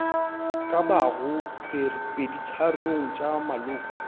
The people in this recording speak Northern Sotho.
ka bago peditharong tša maloko